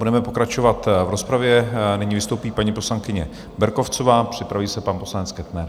Budeme pokračovat v rozpravě, nyní vystoupí paní poslankyně Berkovcová, připraví se pan poslanec Kettner.